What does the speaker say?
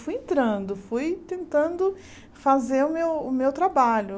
Fui entrando, fui tentando fazer o meu o meu trabalho.